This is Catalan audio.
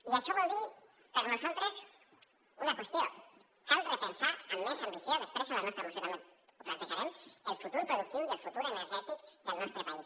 i això vol dir per nosaltres una qüestió cal repensar amb més ambició després a la nostra moció també ho plantejarem el futur productiu i el futur energètic del nostre país